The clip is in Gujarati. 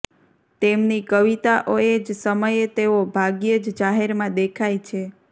તેમની કવિતાઓએ જ સમયે તેઓ ભાગ્યે જ જાહેરમાં દેખાય છે